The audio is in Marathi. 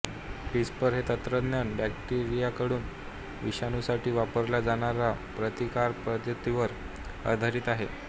क्रिस्पर हे तंत्रज्ञान बॅक्टेरियाकडून विषाणूंसाठी वापरल्या जाणाऱ्या प्रतिकारपद्धतीवर आधारित आहे